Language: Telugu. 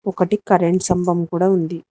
ఒకటి కరెంట్ స్థంభం కూడా ఉంది.